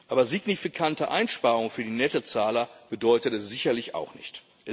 Aber signifikante Einsparungen für die Nettozahler bedeutet es sicherlich auch nicht.